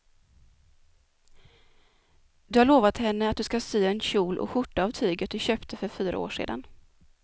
Du har lovat henne att du ska sy en kjol och skjorta av tyget du köpte för fyra år sedan.